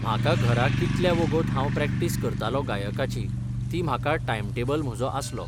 म्हाका घरा कितल्या वोगोत हांव प्रॅक्टीस करतालों गायकाची, ती म्हाका टायम टॅबल म्हजो आसलो.